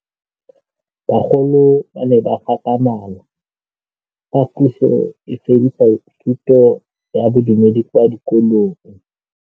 Bagolo ba ne ba gakgamala fa Pusô e fedisa thutô ya Bodumedi kwa dikolong.